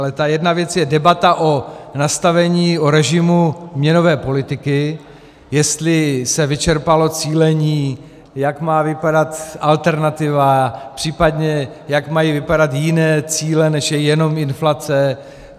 Ale ta jedna věc je debata o nastavení, o režimu měnové politiky, jestli se vyčerpalo cílení, jak má vypadat alternativa, případně jak mají vypadat jiné cíle, než je jenom inflace.